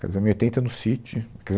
Casamos em oitenta no Sítio,